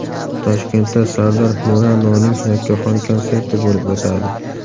Toshkentda Sardor Milanoning yakkaxon konserti bo‘lib o‘tadi.